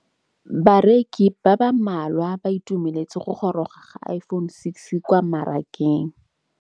Bareki ba ba malwa ba ituemeletse go gôrôga ga Iphone6 kwa mmarakeng.